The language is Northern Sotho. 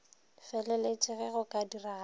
feleletše ge go ka diragala